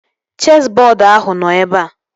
Chesị bọọdu ahụ nọ ebea